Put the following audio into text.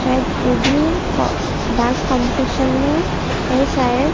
शायद वो भी को डांस कॉम्पिटिशन में है शायद --